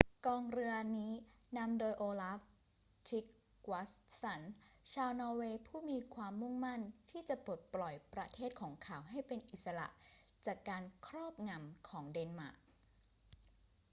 กองเรือนี้นำโดยโอลาฟ ทริกวัสสัน ชาวนอร์เวย์ผู้มีความุ่งมั่นที่จะปลดปล่อยประเทศของเขาให้เป็นอิสระจากการครอบงำของเดนมาร์ก